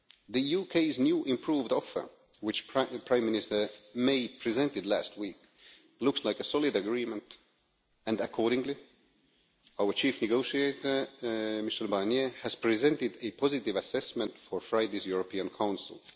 The UK's new improved offer which Prime Minister May presented last week looks like a solid agreement, and accordingly our chief negotiator Michel Barnier has presented a positive assessment for Friday's European Council.